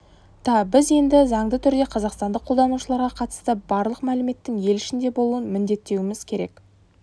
та біз енді заңды түрде қазақстандық қолданушыларға қатысты барлық мәліметтің ел ішінде болуын міндеттеуіміз керек